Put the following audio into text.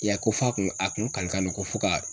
I ya ye a ,ko f'a kun a kun kale kan don ko fo ka